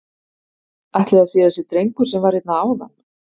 Ætli það sé þessi drengur sem var hérna áðan?